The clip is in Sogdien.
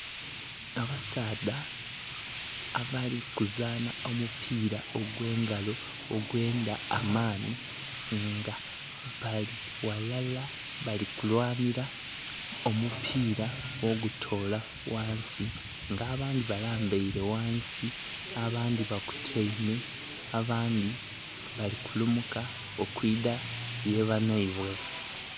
Abasaadha abali kuzaanha omupira ogwe engalo ogwendha amaanhi nga bali ghalala bali kulyanhira ku mupira okutola ghansi nga abandhi balambaire ghansi, abandhi basutaime, abandhi bali kulumuka okwidha ye banhaibwe.